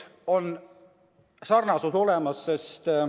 Sarnasus on olemas.